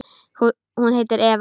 Hún heitir Eva.